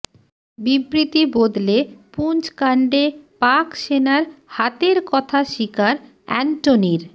বিবৃতি বদলে পুঞ্চকাণ্ডে পাক সেনার হাতের কথা স্বীকার অ্যান্টনির